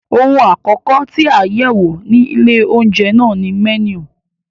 Ohun àkọ́kọ́ tí a yẹ̀wò ní ilé-oúnjẹ náà ni mẹ́nù.